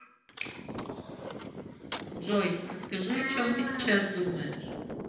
джой расскажи о чем ты сейчас думаешь